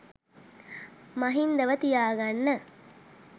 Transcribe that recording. මහින්දව තියා ගන්න